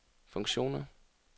funktioner